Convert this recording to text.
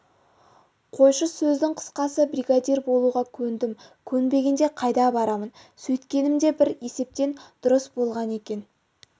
қойшы сөздің қысқасы бригадир болуға көндім көнбегенде қайда барамын сөйткенім де бір есептен дұрыс болған екен